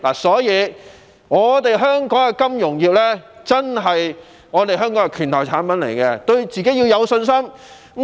所以，金融業可說是香港的"拳頭"產品，我們要對自己有信心。